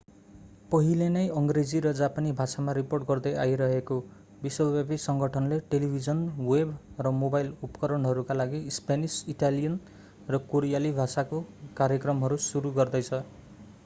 पहिले नै अङ्ग्रेजी र जापानी भाषामा रिपोर्ट गर्दै आइरहेको विश्वव्यापी सङ्गठनले टेलिभिजन वेब र मोबाइल उपकरणहरूका लागि स्पेनिस इटालियन र कोरियाली भाषाका कार्यक्रमहरू सुरु गर्दैछ